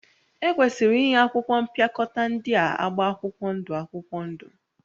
Ekwesịrị inye akwụkwọ mpịakọta ndị a agba akwụkwọ ndụ akwụkwọ ndụ